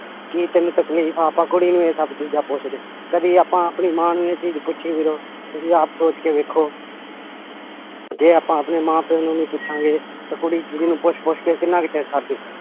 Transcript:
ਕੀ ਤੈਨੂੰ ਤਕਲੀਫ਼ ਆ ਆਪਾਂ ਕੁੜੀ ਨੂੰ ਇਹ ਸਭ ਚੀਜ਼ਾਂ ਪੁੱਛਦੇ, ਕਦੇ ਆਪਾਂ ਆਪਣੀ ਮਾਂ ਨੂੰ ਇਹ ਚੀਜ਼ ਪੁੱਛੀ ਵੀਰੋ ਤੁਸੀਂ ਆਪ ਸੋਚ ਕੇ ਵੇਖੋ ਜੇ ਆਪਾਂ ਆਪਣੇ ਮਾਂ ਪਿਓ ਨੂੰ ਨੀ ਪੁੱਛਾਂਗੇ ਤਾਂ ਕੁੜੀ ਚਿੱੜੀ ਨੂੰ ਪੁੱਛ ਪੁੱਛ ਕੇ ਕਿੰਨਾ ਕੁ ਚਿਰ ਸਰ ਜਾਊ